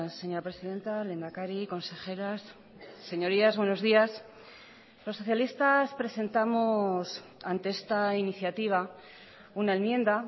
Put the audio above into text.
señora presidenta lehendakari consejeras señorías buenos días los socialistas presentamos ante esta iniciativa una enmienda